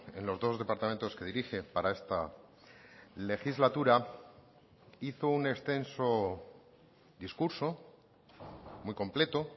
en los dos departamentos que dirige para esta legislatura hizo un extenso discurso muy completo